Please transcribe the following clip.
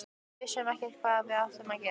Við vissum ekkert hvað við áttum að gera.